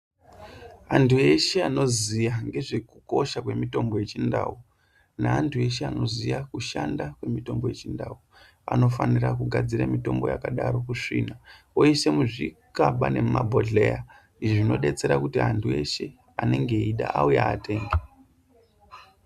Antu eshe anoziya ngezvekukosha kwemitombo yechindau neantu eshe anoziya kushanda kwemitombo yechindau anofanira kugadzire mutombo yakadaro kusvina oisa muzvikaba nemabhodhleya zvinobetsera kuti antu eshe anenge eyida auye atenge